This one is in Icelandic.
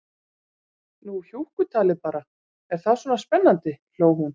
Nú hjúkkutalið bara, er það svona spennandi, hló hún.